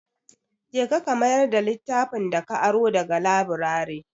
Je ka, ka mayar da littafin da ka aro da ga laburare.